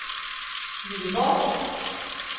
Gøteborg